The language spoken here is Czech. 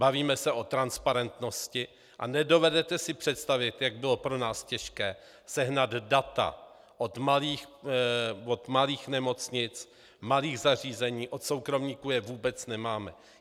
Bavíme se o transparentnosti a nedovedete si představit, jak bylo pro nás těžké sehnat data od malých nemocnic, malých zařízení, od soukromníků je vůbec nemáme.